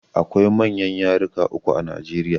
Akwai manyan yaruka uku a Najeriya